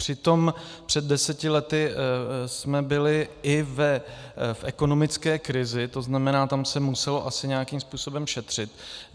Přitom před deseti lety jsme byli i v ekonomické krizi, to znamená, tam se muselo asi nějakým způsobem šetřit.